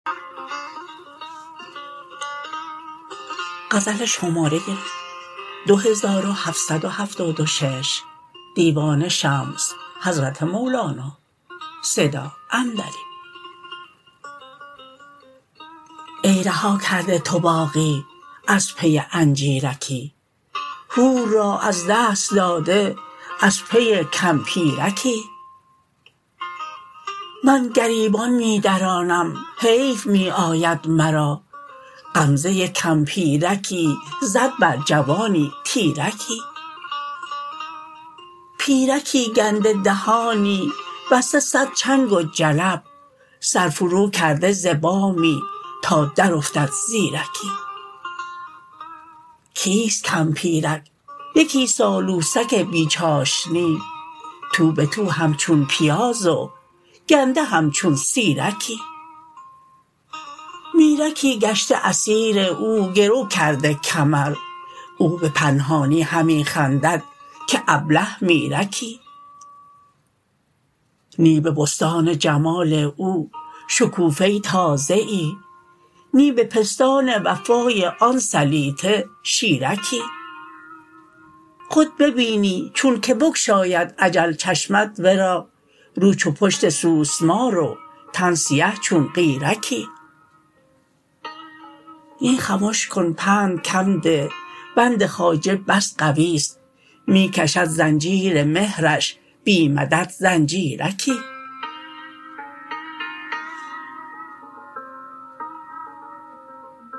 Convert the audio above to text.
ای رها کرده تو باغی از پی انجیرکی حور را از دست داده از پی کمپیرکی من گریبان می درانم حیف می آید مرا غمزه کمپیرکی زد بر جوانی تیرکی پیرکی گنده دهانی بسته صد چنگ و جلب سر فروکرده ز بامی تا درافتد زیرکی کیست کمپیرک یکی سالوسک بی چاشنی تو به تو همچون پیاز و گنده همچون سیرکی میرکی گشته اسیر او گرو کرده کمر او به پنهانی همی خندد که ابله میرکی نی به بستان جمال او شکوفه تازه ای نی به پستان وفای آن سلیطه شیرکی خود ببینی چونک بگشاید اجل چشمت ورا رو چو پشت سوسمار و تن سیه چون قیرکی نی خمش کن پند کم ده بند خواجه بس قوی است می کشد زنجیر مهرش بی مدد زنجیرکی